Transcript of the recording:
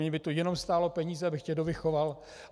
Mě by to jenom stálo peníze, abych tě dovychoval.